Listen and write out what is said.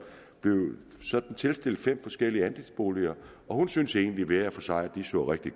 sådan blev tilstillet fem forskellige andelsboliger hun syntes egentlig hver for sig så rigtig